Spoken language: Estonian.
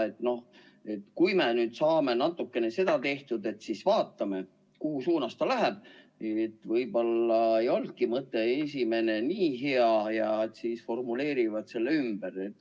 Võib-olla ka, et kui nad nüüd saavad natukene seda tehtud, siis vaatavad, kuhu suunas ta läheb, et võib-olla ei olnudki esimene mõte nii hea, ja siis nad formuleerivad selle ümber.